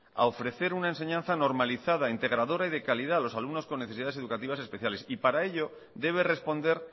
a ofrecer una enseñanza normalizada integradora y de calidad a los alumnos con necesidades educativas especiales y para ello debe responder